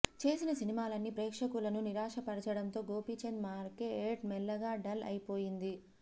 చేసిన సినిమాలన్నీ ప్రేక్షకులను నిరాశపరచడంతో గోపీచంద్ మార్కెట్ మెల్లగా డల్ అయ్యిపోతుంది